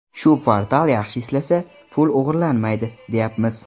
Shu portal yaxshi ishlasa, pul o‘g‘irlanmaydi, deyapmiz.